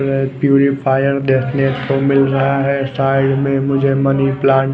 purifier देखने को मिल रहा है साईड में मुझे मनी प्लांट्स --